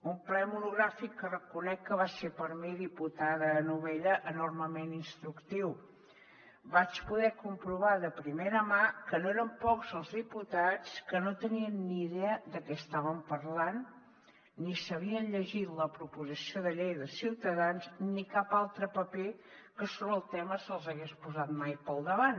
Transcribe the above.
un ple monogràfic que reconec que va ser per a mi diputada novella enormement instructiu vaig poder comprovar de primera mà que no eren pocs els diputats que no tenien ni idea de què estaven parlant ni s’havien llegit la proposició de llei de ciutadans ni cap altre paper que sobre el tema se’ls hagués posat mai pel davant